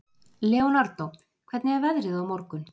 Leonardo, hvernig er veðrið á morgun?